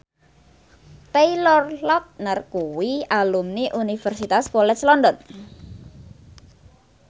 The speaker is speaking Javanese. Taylor Lautner kuwi alumni Universitas College London